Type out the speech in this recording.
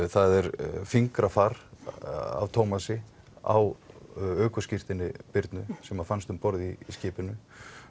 það er fingrafar af Thomasi á ökuskírteini Birnu sem fannst um borð í skipinu